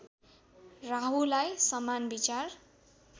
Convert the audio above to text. राहुलाई समान विचार